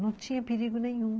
Não tinha perigo nenhum.